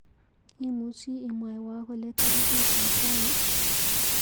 Imuchi imwawa kole tarikitap rani?